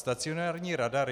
Stacionární radar.